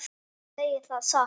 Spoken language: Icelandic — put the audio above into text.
Ég segi það satt.